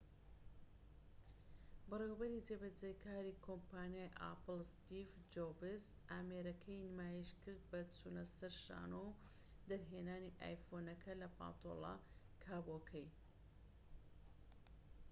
بەڕێوەبەری جێبەجێکاری کۆمپانیای ئاپڵ ستیڤ جۆبس ئامێرەکەی نمایشکرد بە چونەسەر شانۆ و دەرهێنانی ئایفۆنەکە لە پانتۆلە کابۆکەی